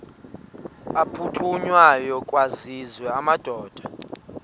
aphuthunywayo kwaziswe amadoda